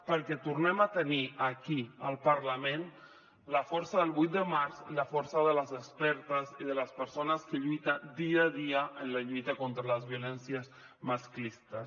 perquè tornem a tenir aquí al parlament la força del vuit de març i la força de les expertes i de les persones que lluiten dia a dia en la lluita contra les violències masclistes